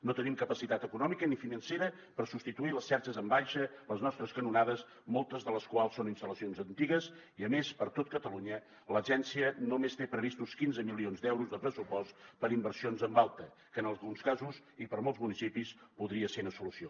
no tenim capacitat econòmica ni financera per substituir les xarxes en baixa les nostres canonades moltes de les quals són instal·lacions antigues i a més per tot catalunya l’agència només té previstos quinze milions d’euros de pressupost per a inversions en alta que en alguns casos i per a molts municipis podria ser una solució